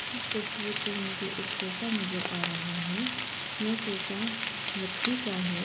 इस तस्वीर पर मुझे एक सोफा नजर आ रह है यह सोफा लकड़ी का है।